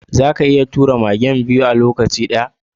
Zaka iya tura karusai'n biyu a lokaci guda?